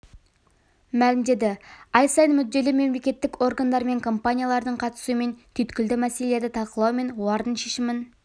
мәлімдеді ай сайын мүдделі мемлекеттік органдар мен компаниялардың қатысуымен түйіткілді мәселелерді талқылау мен олардың шешімін